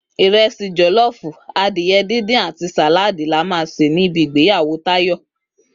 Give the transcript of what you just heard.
Ráìsì jò̩ló̩ò̩fù, adìye̩ díndín àti sàláàdì la máa sè ní ibi ìgbéyàwó Táyò̩